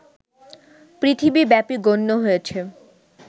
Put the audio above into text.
পৃথিবীব্যাপী গণ্য হয়েছে